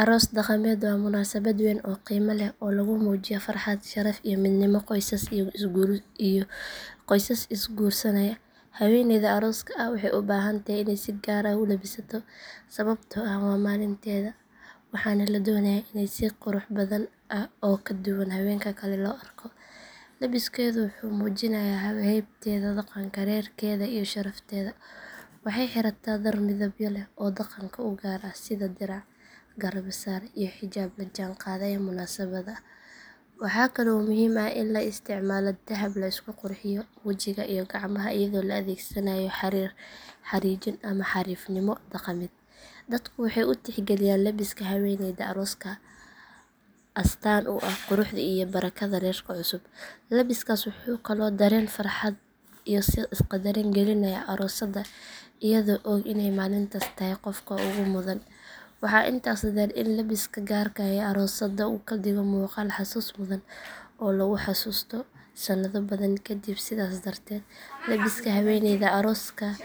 Aroos dhaqameed waa munaasabad weyn oo qiimo leh oo lagu muujiyo farxad, sharaf iyo midnimo qoysas is guursanaya. Haweeneyda arooska ah waxay u baahan tahay inay si gaar ah u labisato sababtoo ah waa maalinteeda waxaana la doonayaa in si qurux badan oo ka duwan haweenka kale loo arko. Labiskeedu wuxuu muujinayaa haybteeda, dhaqanka reerkeeda iyo sharafteeda. Waxay xirataa dhar midabyo leh oo dhaqanka u gaar ah sida dirac, garbasaar iyo xijaab la jaan qaadaya munaasabadda. Waxa kale oo muhiim ah in la isticmaalo dahab, la isku qurxiyo wejiga iyo gacmaha iyadoo la adeegsanayo xariir, xariijin ama xariifnimo dhaqameed. Dadku waxay u tixgeliyaan labiska haweeneyda arooska astaan u ah quruxda iyo barakada reerka cusub. Labiskaas wuxuu kaloo dareen farxad iyo is qadarin gelinayaa aroosadda iyadoo og inay maalintaas tahay qofka ugu mudan. Waxaa intaas dheer in labiska gaarka ah ee aroosadda uu ka dhigo muuqaal xasuus mudan oo lagu xasuusto sannado badan kaddib. Sidaas darteed labiska haweeneyda arooska ah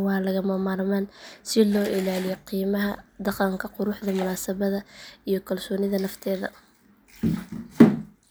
waa lagama maarmaan si loo ilaaliyo qiimaha dhaqanka, quruxda munaasabadda iyo kalsoonida nafteeda.